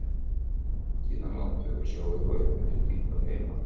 Síðan landveg og sjóveg og uppeftir Hvítá heim að